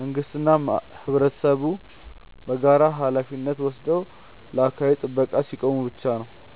መንግስትና ህብረተሰቡ በጋራ ሃላፊነት ወስደው ለአካባቢ ጥበቃ ሲቆሙ ብቻ ነው።